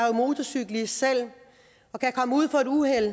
er motorcyklist og kan komme ud for et uheld